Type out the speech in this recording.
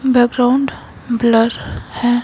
Background blur है ।